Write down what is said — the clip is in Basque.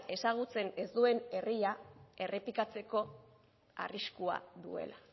ezagutzen ez duen herriak errepikatzeko arriskua duela